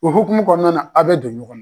U hukumu kɔnɔna na a' bɛ don ɲɔgɔn na.